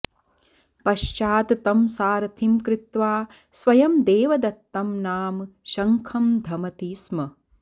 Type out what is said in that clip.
पश्चात् तं सारथिं कृत्वा स्वयं देवदत्तं नाम शङ्खं धमति स्म